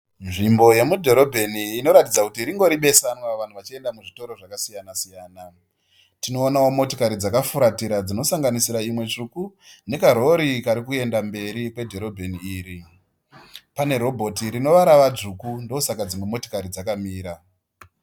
Nzvimbo iri mudhorobheni inoratidza kuti ringori besanwa vanhu vachienda muzvitoro zvakasiyana siyana. Tinoonawo motikari dzakafuratira dzinosanganisira imwe tsvuku nekarori kari kuenda mberi kwedhorobheni iri. Pane robhoti rinova ravadzvuku ndosaka dzimwe motikari dzakamira.